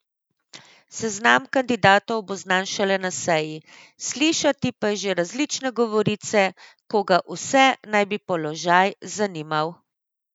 Seznam kandidatov bo znan šele na seji, slišati pa je že različne govorice, koga vse naj bi položaj zanimal.